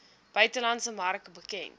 buitelandse mark bekend